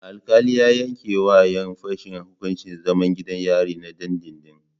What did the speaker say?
Alkali ya yanke wa yan fashen hukuncin zaman gidan yari na dindindin